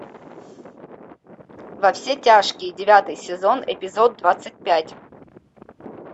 во все тяжкие девятый сезон эпизод двадцать пять